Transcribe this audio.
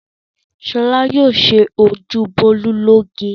Ṣọlá yóò ṣe ojú Bólú lóge.